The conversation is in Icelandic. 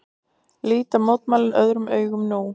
Líta mótmælin öðrum augum nú